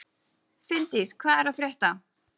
Finndís, hvað er að frétta?